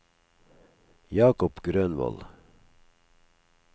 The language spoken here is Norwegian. Jacob Grønvold